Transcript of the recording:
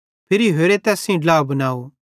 फिरी होरे तैस सेइं ड्ला बनाव